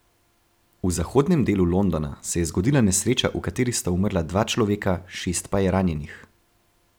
V zahodnem delu Londona se je zgodila nesreča, v kateri sta umrla dva človeka, šest pa je ranjenih.